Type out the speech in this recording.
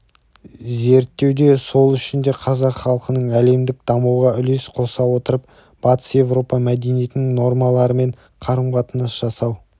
зерттеуде сол үшін де қазақ халқының әлемдік дамуға үлес қоса отырып батыс-еуропа мәдениетінің нормаларымен қарым-қатынас жасау